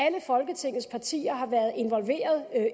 folketingets partier har været involveret